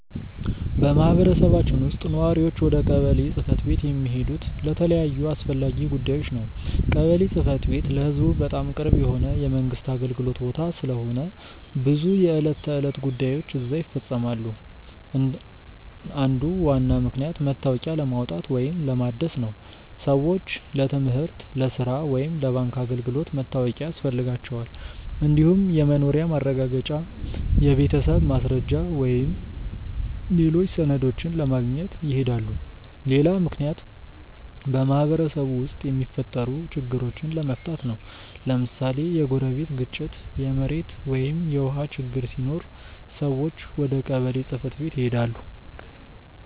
በማህበረሰባችን ውስጥ ነዋሪዎች ወደ ቀበሌ ጽ/ቤት የሚሄዱት ለተለያዩ አስፈላጊ ጉዳዮች ነው። ቀበሌ ጽ/ቤት ለህዝቡ በጣም ቅርብ የሆነ የመንግስት አገልግሎት ቦታ ስለሆነ ብዙ የዕለት ተዕለት ጉዳዮች እዚያ ይፈፀማሉ። አንዱ ዋና ምክንያት መታወቂያ ለማውጣት ወይም ለማደስ ነው። ሰዎች ለትምህርት፣ ለሥራ ወይም ለባንክ አገልግሎት መታወቂያ ያስፈልጋቸዋል። እንዲሁም የመኖሪያ ማረጋገጫ፣ የቤተሰብ ማስረጃ ወይም ሌሎች ሰነዶችን ለማግኘት ይሄዳሉ። ሌላ ምክንያት በማህበረሰቡ ውስጥ የሚፈጠሩ ችግሮችን ለመፍታት ነው። ለምሳሌ የጎረቤት ግጭት፣ የመሬት ወይም የውሃ ችግር ሲኖር ሰዎች ወደ ቀበሌ ጽ/ቤት ይሄዳሉ።